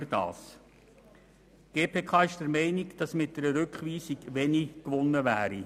Die GPK ist der Meinung, dass mit einer Rückweisung wenig gewonnen wäre.